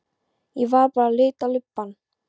Ég var bara að lita lubbann.